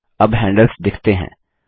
अब हेंडल्स दिखते हैं